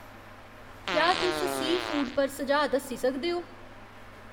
क्या तुस सी फूड पर सुझाऽ दस्सी सकदे ओ?